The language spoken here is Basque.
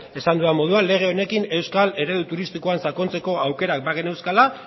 esan dudan moduan lege honekin euskal eredu turistikoan sakontzeko aukerak bageneuzkala